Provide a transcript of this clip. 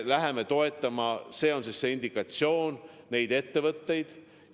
See on see indikatsioon, kui me neid ettevõtteid toetame.